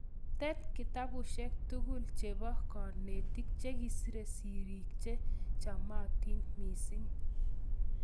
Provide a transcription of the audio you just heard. Tet kitabushek tugul che ba konegit chikisire sirik che chamatin mising'